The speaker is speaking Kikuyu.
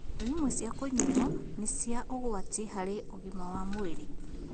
Indo imwe cia kũnyuuo nĩ cia ũgwati harĩ ũgima wa mwĩrĩ